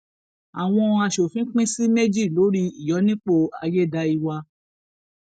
àwọn aṣòfin pín sí méjì lórí ìyọnipọ ayédáiwa